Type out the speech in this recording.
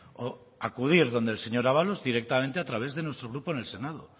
o acudir donde el señor ábalos directamente a través de nuestro grupo en el senado